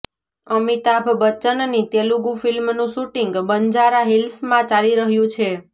અમિતાભ બચ્ચનની તેલુગુ ફિલ્મનું શૂટિંગ બંજારા હિલ્સમાં ચાલી રહ્યું છે